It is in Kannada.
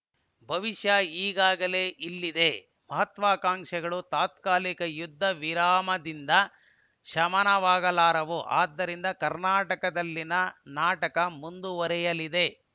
ಭವಿಷ್ಯ ಈಗಾಗಲೇ ಇಲ್ಲಿದೆ ಮಹತ್ವಾಕಾಂಕ್ಷೆಗಳು ತಾತ್ಕಾಲಿಕ ಯುದ್ಧವಿರಾಮದಿಂದ ಶಮನವಾಗಲಾರವು ಆದ್ದರಿಂದ ಕರ್ನಾಟಕದಲ್ಲಿನ ನಾಟಕ ಮುಂದುವರಿಯಲಿದೆ